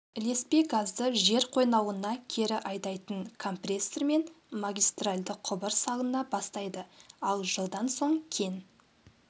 ілеспе газды жер қойнауына кері айдайтын компрессор мен магистральді құбыр салына бастайды ал жылдан соң кен